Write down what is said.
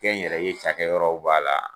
Kɛn n yɛrɛ ye cakɛ yɔrɔw b'a la